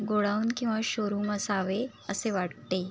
Godown किवा showroom असावे असे वाटते.